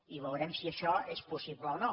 i veurem si això és possible o no